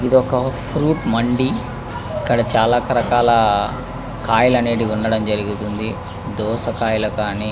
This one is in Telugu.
ఇధి ఒక ఫ్రూట్ మంది ఇక్కడ చాలా రకాల దోస కయ్యలు కానీ--